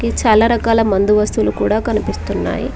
ఇది చాలా రకాల మందు వస్తువులు కూడా కనిపిస్తున్నాయి.